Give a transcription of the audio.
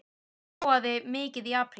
Snjóaði mikið í apríl?